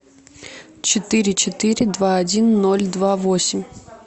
четыре четыре два один ноль два восемь